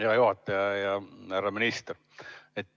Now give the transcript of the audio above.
Hea juhataja ja härra minister!